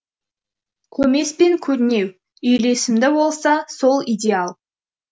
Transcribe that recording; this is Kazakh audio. көмес пен көрнеу үйлесімді болса сол идеал